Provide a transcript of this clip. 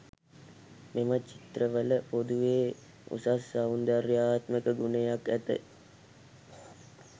මෙම චිත්‍රවල පොදුවේ උසස් සෞන්දර්යාත්මක ගුණයක් ඇත.